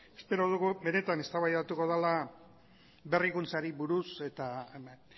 espero dugu benetan eztabaidatuko dela berrikuntzari buruz